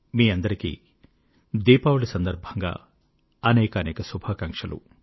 మీ అందరికీ దీపావళి సందర్భంగా అనేకానేక శుభాకాంక్షలు